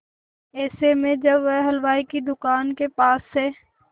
ऐसे में जब वह हलवाई की दुकान के पास से